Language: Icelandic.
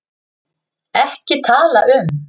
EKKI TALA UM